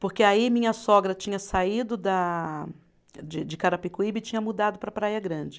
Porque aí minha sogra tinha saído da de, de Carapicuíba e tinha mudado para Praia Grande.